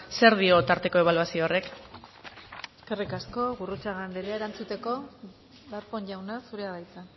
zer dio tarteko ebaluazio horrek eskerrik asko gurrutxaga andrea erantzuteko darpón jauna zurea da hitza